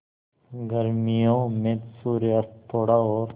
गर्मियों में सूर्यास्त थोड़ा और